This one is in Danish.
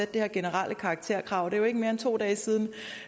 det her generelle karakterkrav det er jo ikke mere end to dage siden